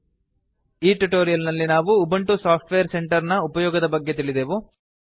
ಈ ಟ್ಯುಟೋರಿಯಲ್ ನಲ್ಲಿ ನಾವು ಉಬಂಟು ಸಾಫ್ಟ್ವೇರ್ ಸೆಂಟರ್ ನ ಉಪಯೋಗದ ಬಗ್ಗೆ ತಿಳಿದೆವು